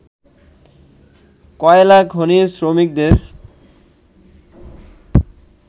কয়লাখনির শ্রমিকদের